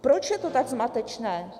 Proč je to tak zmatečné?